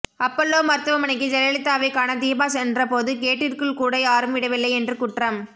Apollo மருத்துவமனைக்கு ஜெயலலிதாவைக் காண தீபா சென்ற போது கேட்டிற்குள் கூட யாரும் விடவில்லை என்று குற்றம்